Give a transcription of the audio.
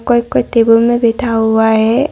और कोई टेबल में बैठा हुआ है।